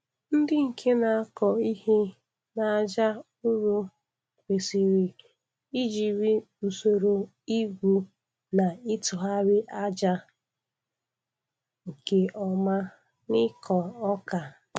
Ndi nke na-akọ ihe n'aja ụrọ kwesịrị ijiri usoro igwu na ịtụghari aja nke oma n'ịkọ ọka.